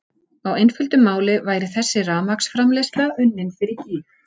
Á einföldu máli væri þessi rafmagnsframleiðsla unnin fyrir gýg!